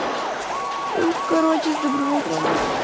ну короче с добрым утром